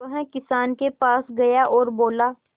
वह किसान के पास गया और बोला